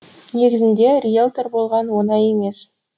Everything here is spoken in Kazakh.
негізінде риелтор болған оңай емес